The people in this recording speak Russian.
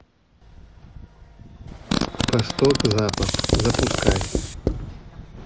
восток запад запускай